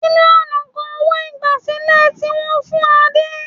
Mílíọ̀nù kan owó-ìgbàsílẹ̀ tí wọ́n fún Adé.